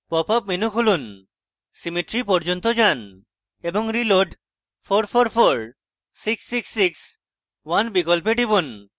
popup menu খুলুন symmetry পর্যন্ত যান এবং reload {444 666 1} বিকল্পে টিপুন